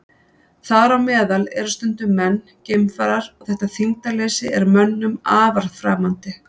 Þar á meðal eru stundum menn, geimfarar, og þetta þyngdarleysi er mönnum afar framandi.